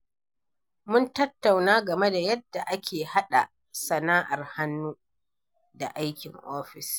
Mun tattauna game da yadda ake haɗa sana’ar hannu da aikin ofis.